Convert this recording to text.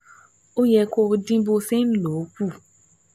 Ó yẹ kó dín bó ṣe ń lò ó kù